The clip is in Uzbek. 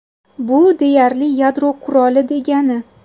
Bu deyarli yadro quroli degani.